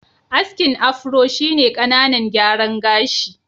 Askin Afro shi ne ƙananan gyaran gashi.